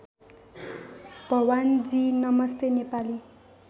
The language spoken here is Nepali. भवानीजी नमस्ते नेपाली